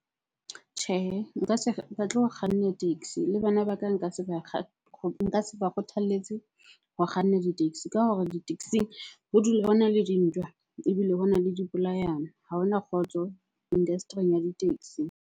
Tjhehe, nka se batle ho kganna taxi, le bana ba ka nka se ba nka se ba kgothalletse ho kganna di-taxi ka hore di-taxi-ing ho dula hona le dintwa ebile hona le dipolayano. Ha ho na kgotso industry-ing ya di-taxi.